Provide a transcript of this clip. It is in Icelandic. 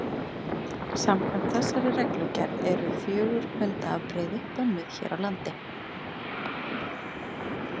Samkvæmt þessari reglugerð eru fjögur hundaafbrigði bönnuð hér á landi.